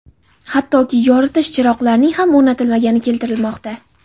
hattoki yoritish chiroqlarining ham o‘rnatilmagani keltirilmoqda.